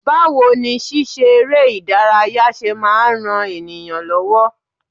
Báwo ni ṣíṣe eré ìdárayá ṣe máa ń ran ènìyàn lọ́wọ́?